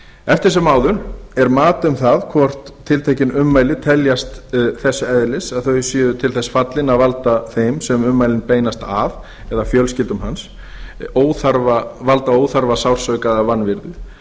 eftir sem áður er mat um það hvort tiltekin ummæli teljast þess eðlis að þau séu til þess fallin að valda þeim sem ummælin beinast að eða fjölskyldum hans óþarfa sársauka eða